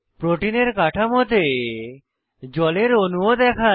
প্রোটিনের কাঠামোতে জলের অণুও দেখায়